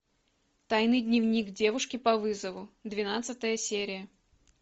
тайный дневник девушки по вызову двенадцатая серия